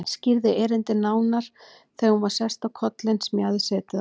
Skýrði erindið nánar þegar hún var sest á kollinn sem ég hafði setið á.